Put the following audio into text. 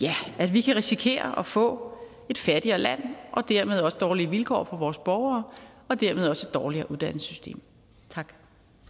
vi kan risikere at få et fattigere land og dermed også dårligere vilkår for vores borgere og dermed også et dårligere uddannelsessystem tak